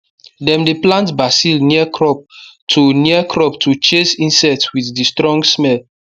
dem dey plant basil near crop to near crop to chase insect with the strong smell